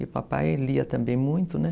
E o papai lia também muito, né?